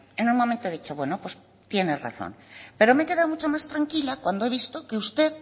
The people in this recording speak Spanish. en un momento he dicho bueno pues tienes razón pero me he quedado mucho más tranquila cuando he visto que usted